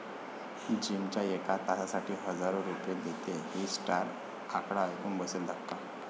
जिमच्या एका तासासाठी हजारो रुपये देते ही स्टार, आकडा ऐकून बसेल धक्का